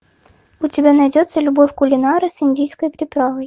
у тебя найдется любовь кулинара с индийской приправой